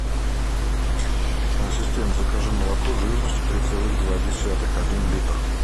ассистент закажи молоко жирностью три целых два десятых один литр